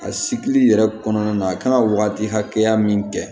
A sikili yɛrɛ kɔnɔna na a kan ka wagati hakɛya min kɛ